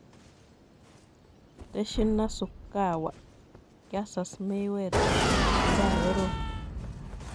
Tenshin Nasukawa: 'Kiasas' Mayweather nga korom